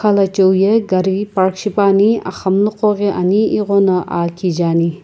khalachiu ye gari park shipuani axamunuqo ghi ani ighono aa kije ani.